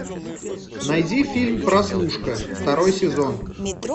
найди фильм прослушка второй сезон